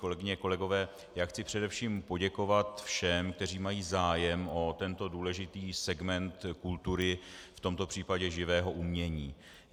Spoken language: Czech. Kolegyně, kolegové, já chci především poděkovat všem, kteří mají zájem o tento důležitý segment kultury, v tomto případě živého umění.